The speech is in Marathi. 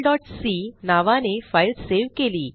logicalसी नावाने फाईल सेव्ह केली